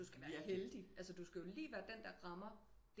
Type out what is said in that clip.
Du skal være heldig altså du skal lige være den der rammer